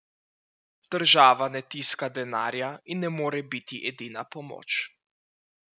Država ne tiska denarja in ne more biti edina pomoč.